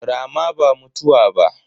Rama ba mutuwa ba.